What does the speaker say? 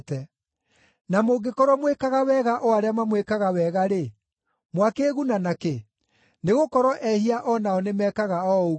Na mũngĩkorwo mwĩkaga wega o arĩa mamwĩkaga wega-rĩ, mwakĩĩguna na kĩ? Nĩgũkorwo ehia o nao nĩmekaga o ũguo.